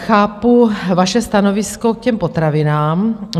Chápu vaše stanovisko k těm potravinám.